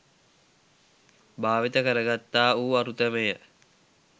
භාවිත කරගත්තා වූ අරුතමය.